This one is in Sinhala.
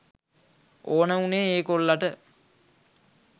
ඕන වුනේ ඒ කොල්ලට